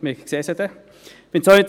Dies werden wir sehen.